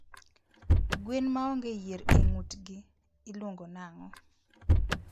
gwen maonge yier e ngutgi iluongo nango?